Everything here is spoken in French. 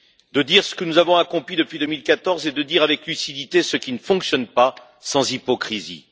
De dire ce que nous avons accompli depuis 2014 et de dire avec lucidité ce qui ne fonctionne pas, sans hypocrisie.